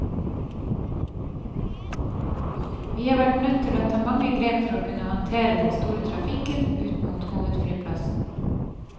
Vi har vært nødt til å ta mange grep for å kunne håndtere den store trafikken ut mot hovedflyplassen.